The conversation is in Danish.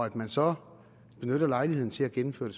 at man så benytter lejligheden til at gennemføre